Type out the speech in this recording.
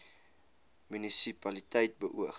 munisi paliteit beoog